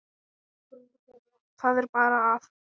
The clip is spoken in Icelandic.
Það er bara að.